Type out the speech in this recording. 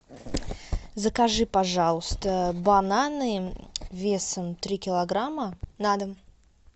закажи пожалуйста бананы весом три килограмма на дом